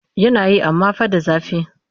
Yana yi amma fa da zafi